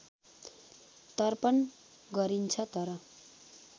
तर्पण गरिन्छ तर